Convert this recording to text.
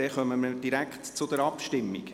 Dann kommen wir direkt zur Abstimmung.